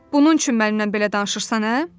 Bunun üçün mənlə belə danışırsan, hə?